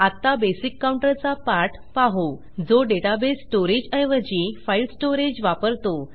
आत्ता basic counter चा पाठ पाहू जो डेटाबेस स्टोअरेज ऐवजी file storageवापरतो